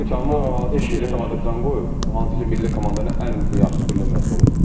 Kamran hansı ki milli komandaya can qoyub, hansı ki milli komandanın ən yaxşı bir nömrəsi olub.